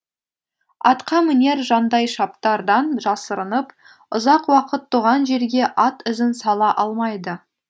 атқамінер жандайшаптардан жасырынып ұзақ уақыт туған жерге ат ізін сала алмайды